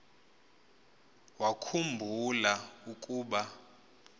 wakhu mbula ukuba